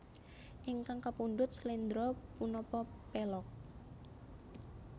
Ingkang kapundhut sléndro punapa pélog